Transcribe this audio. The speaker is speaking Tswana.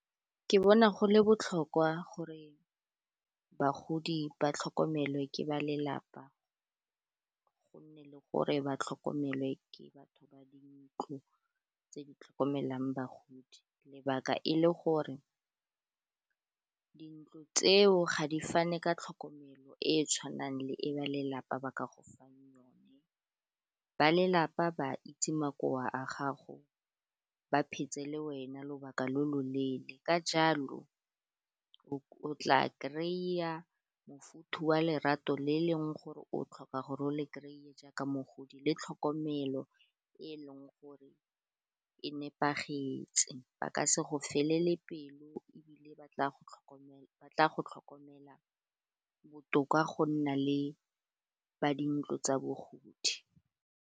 Ke bona go le botlhokwa gore bagodi ba tlhokomelwa ke ba lelapa go nne le gore ba tlhokomele ke batho ba di ntlo tse di tlhokomelang bagodi lebaka e le gore, dintlo tseo ga di fane ka tlhokomelo e e tshwanang le e ba lelapa ba ka go fang yone ba lelapa ba itse makowa a gago ba iphetse le wena lobaka lo lo leele ka jalo o tla kry-a mofuthu wa lerato le e leng gore o tlhoka gore o le kry-e jaaka mogodi, le tlhokomelo e e leng gore e nepagetse ba ka se go felele pelo ebile ba tla go tlhokomela botoka go nna le ba dintlo tsa bogodi.